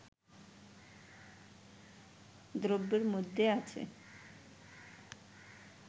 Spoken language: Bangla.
দ্রব্যের মধ্যে আছে